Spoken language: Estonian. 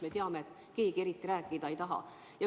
Me ju teame, et keegi eriti rääkida ei taha.